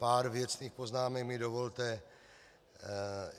Pár věcných poznámek mi dovolte.